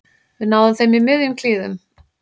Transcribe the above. Við náðum þeim í miðjum klíðum